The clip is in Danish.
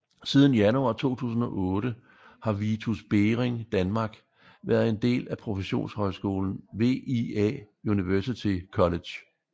Siden januar 2008 har Vitus Bering Danmark været en del af professionshøjskolen VIA University College